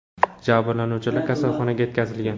Jabrlanuvchilar kasalxonaga yetkazilgan.